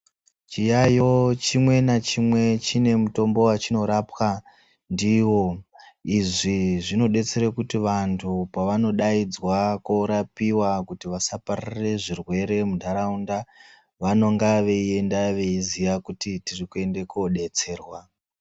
Chiyayo chimwe nachimwe chine mutombo wachinorapwa ndiwo, izvi zvinodetsera kuti vantu pavanodayidzwa korapiwa kuti vasapararire zvirwere muntaraunda, vanonga veyienda veyiziya kuti tiri kuyenda kodetserwa.